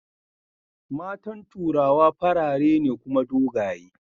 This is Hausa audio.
matan turawa farare ne Kuma dogaye